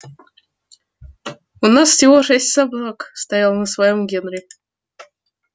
у нас всего шесть собак стоял на своём генри